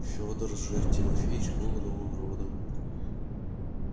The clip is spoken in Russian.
федор же тимофеевич был иного рода